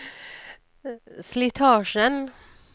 slitasjen